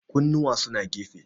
kunnuwa suna gefe